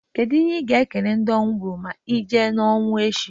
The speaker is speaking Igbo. Kedu ihe i ga e kene ndị ọnwụ gbuuru ma i jee n'ọnwụ echi?